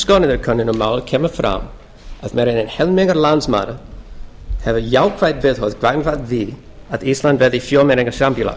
skoðanakönnun um málið kemur fram að meira en helmingur landsmanna hefur jákvætt viðhorf gagnvart því að ísland verði fjölmenningarsamfélag